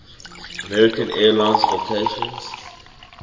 american airlines vacations